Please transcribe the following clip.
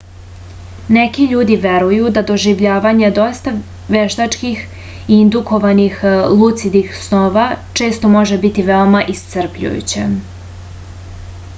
neki ljudi veruju da doživljavanje dosta veštački indukovanih lucidnih snova često može biti veoma iscrpljujuće